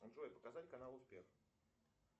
джой показать канал успех